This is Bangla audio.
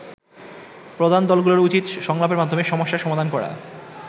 প্রধান দলগুলোর উচিত সংলাপের মাধ্যমে সমস্যার সমাধান করা।